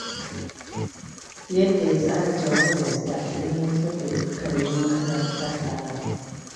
Yadda ya tsara jawabinsa, ya gamsar da dukkanin mahalarta taron